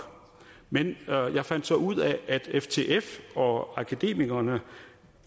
men jeg fandt så ud af at ftf og akademikerne